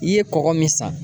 I ye kɔgɔ min san.